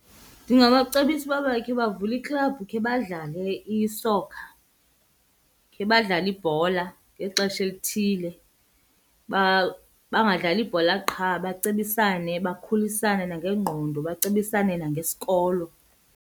Ndingabacebisa uba bakhe bavule iklabhu khe badlale isokha, khe badlale ibhola ngexesha elithile. Bangadlali ibhola qha bacebisane, bakhulisane nangengqondo bacebisane nangesikolo.